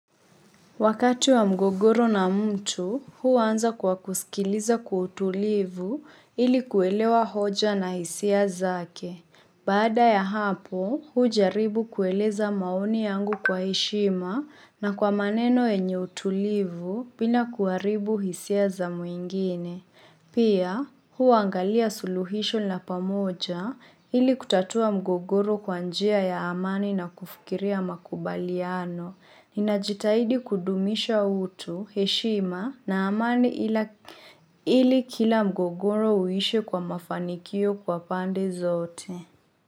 Wakati wa mgogoro na mtu, huu anza kwa kusikiliza kwa utulivu ili kuelewa hoja na hisia zake. Baada ya hapo, huu jaribu kueleza maoni yangu kwa heshima na kwa maneno yenye utulivu bila kuharibu hisia za mwingine. Pia, huu angalia suluhisho la pamoja ili kutatua mgogoro kwa njia ya amani na kufikiria makubaliano. Ninajitahidi kudumisha utu, heshima na amani ili kila mgogoro uishe kwa mafanikio kwa pande zote.